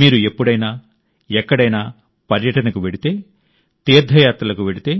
మీరు ఎప్పుడైనా ఎక్కడైనా పర్యటనకు వెళితే తీర్థయాత్రలకు వెళితే